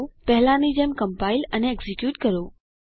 પહેલાંની જેમ કમ્પાઈલ અને એક્ઝીક્યુટ કરો